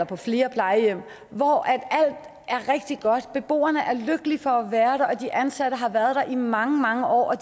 på flere plejehjem hvor alt er rigtig godt hvor beboerne er lykkelige for at være og hvor de ansatte har været i mange mange år og